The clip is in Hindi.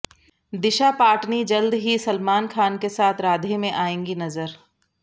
दिशा पटानी जल्द ही सलमान खान के साथ राधे में आएंगी नजर